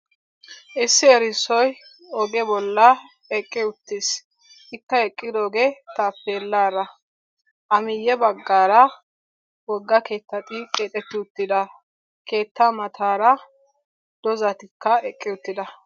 Issi erissoy oge bolla eqqi uttis. Ikka eqqidoogee taappeellaara. A miyye baggaara wogga keettati keexetti uttida keettaa mataara doozatikka eqqi uttida.